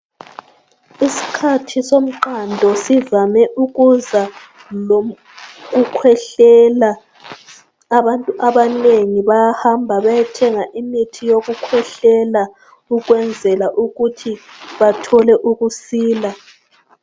Iskhathi somqando sivame ukuza lom... kukhwehlela. Abantu abanengi bayahamba bayethenga imithi yokukhwehlela ukwenzela ukuthi bathole ukusila.